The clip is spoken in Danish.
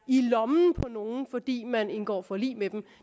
i lommen på nogen fordi man indgår forlig med dem